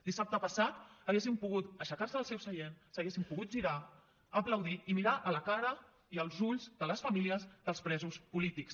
dissabte passat haguessin pogut aixecar se del seu seient s’haguessin pogut girar aplaudir i mirar a la cara i als ulls de les famílies dels presos polítics